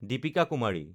Deepika Kumari